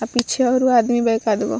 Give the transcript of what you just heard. आ पीछे औरो आदमी बा एक आद गो।